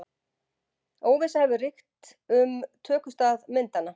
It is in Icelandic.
Óvissa hefur ríkt um tökustað myndanna